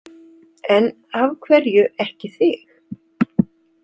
En af hverju ekki þig?